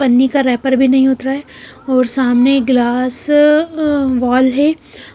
पन्नी का रैपर भी नहीं उतरा है और सामने ग्लास वॉल है